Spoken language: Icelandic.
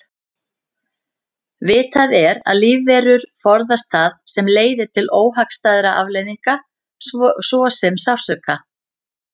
Vitað er að lífverur forðast það sem leiðir til óhagstæðra afleiðinga svo sem sársauka.